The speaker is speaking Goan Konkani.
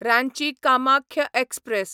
रांची कामाख्य एक्सप्रॅस